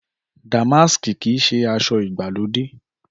Dàmáàsì kìí ṣe aṣọ ìgbàlódé